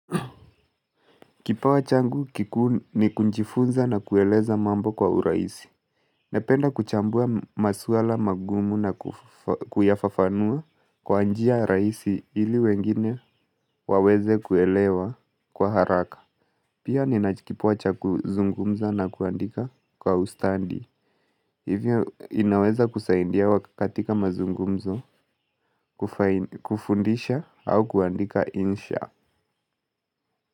Kipawa changu kikuu ni kujifunza na kueleza mambo kwa urahisi. Napenda kuchambua maswala magumu na kuyafafanua kwa njia rahisi ili wengine waweze kuelewa kwa haraka. Pia ninacho kipawa cha kuzungumza na kuandika kwa ustadi, hivyo inaweza kusaidia katika mazungumzo, kufundisha au kuandika insha.